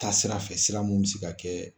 Taa sira fɛ sira mun be se ka kɛ